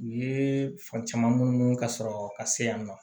U ye fan caman munnu ka sɔrɔ ka se yan nɔ